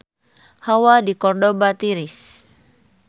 Hawa di Kordoba tiris